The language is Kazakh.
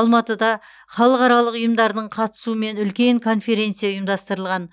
алматыда халықаралық ұйымдардың қатысуымен үлкен конференция ұйымдастырылған